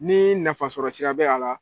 Ni nafa sɔrɔ sira bɛ a la